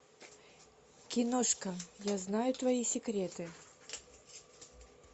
киношка я знаю твои секреты